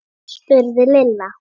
spurði Lilla.